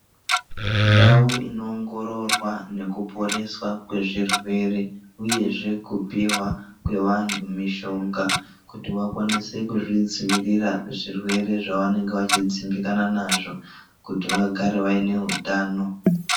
Ndau inowongororwa nekuporeswa kwezvirwere uyezve kupiwa kwevanhu mishonga kuti vakwanise kuzvidzivirira zvirwere zvanenge vachidzimbikana nazvo kuti vagare vane hutano.